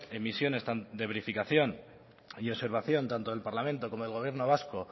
emisión de verificación y observación tanto el parlamento como el gobierno vasco